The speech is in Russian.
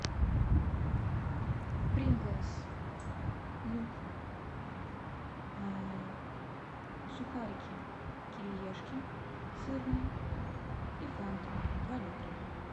принглс лук сухарики кириешки сырные и фанту два литра